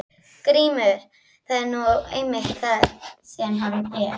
GRÍMUR: Það er nú einmitt það sem hann er.